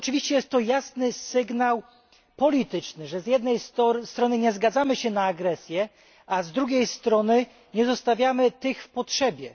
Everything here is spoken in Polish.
Jest to jasny sygnał polityczny, że z jednej strony nie zgadzamy się na agresję, a z drugiej strony nie zostawiamy tych w potrzebie.